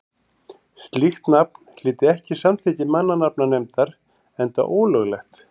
slíkt nafn hlyti ekki samþykki mannanafnanefndar enda ólöglegt